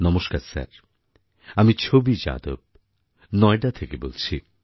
নমস্কার স্যার আমি ছবি যাদব নয়ডা থেকে বলছি